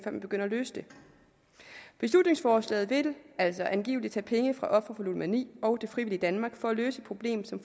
man begynder at løse det beslutningsforslaget vil altså angivelig tage penge fra ofre for ludomani og det frivillige danmark for løse et problem som